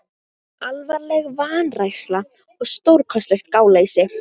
Alvarleg vanræksla og stórkostlegt gáleysi